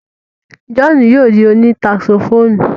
John yóò di òní saxophonu